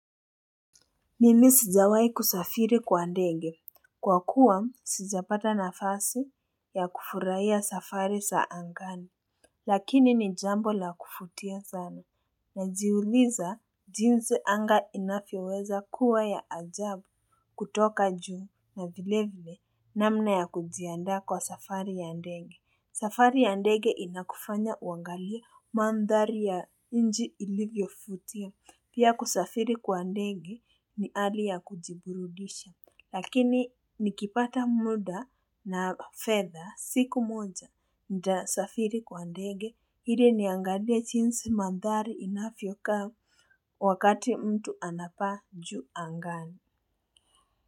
Mimi sijawahi kusafiri kwa ndege, kwa kuwa sijapata nafasi ya kufurahia safari zaa ngani. Lakini ni jambo la kuvutia sana najiuliza jinzi anga inavyoweza kuwa ya ajabu kutoka juu na vile vile namna ya kujiandaa kwa safari ya ndenge. Safari ya ndege inakufanya uangalie mandhari ya nchi ilivyovutia pia kusafiri kwa ndege ni hali ya kujiburudisha Lakini nikipata muda na fedha siku moja nitasafiri kwa ndege ili niangalie jinsi mandhari inavyokaa wakati mtu anapaa juu angani.